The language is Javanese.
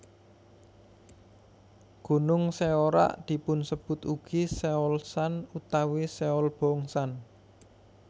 Gunung Seorak dipunsebut ugi Seolsan utawi Seolbongsan